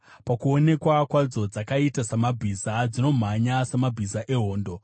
Pakuonekwa kwadzo dzakaita samabhiza; dzinomhanya samabhiza ehondo.